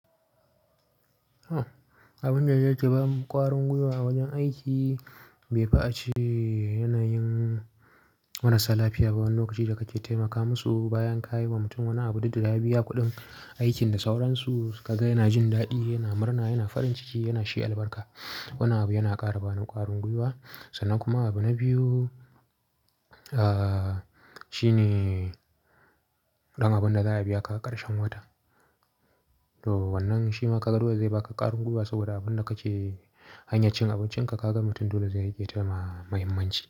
Abun da yake bamu ƙwarin gwiwa a wajen aiki, bai fi'ace yanayin marasa lafiya ba. Wani lokaci da kake taimaka musu bayan ka yi wa mutum wani abu, duk da ya biya kuɗin aikin da sauransu, ka ga yana jin daɗi, yana murna, yana farin ciki, yana shi albarka. Wanan abu yana ƙara ba ni ƙwarin gwiwa sannan kuma abu na biyu shine ɗan abun da za a biya ka a ƙarshen wata. To wannan shi ma ka ga dole zai baka ƙarin gwiwa saboda abun da kake hanyar cin abincinka ka ga mutum dole zai riƙe tada muhimmanci.